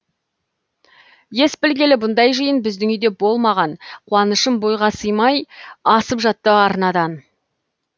ес білгелі бұндай жиын біздің үйде болмаған қуанышым бойға симай асып жатты арнадан